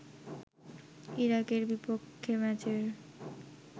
ইরাকের বিপক্ষে ম্যাচের